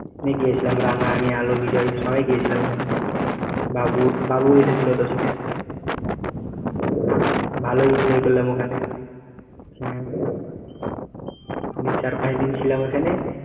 আমি গিয়েছিলাম রানা, আমি, আলো, বিজয় সবাই গিয়েছিলাম ওখানে বাবু বাবু এসেছিল তো সাথে ভালোই enjoy করলাম ওখানে হম এমনি চার পাঁচ দিন ছিলাম ওইখানে।